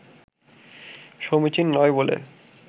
সমীচীন নয় বলে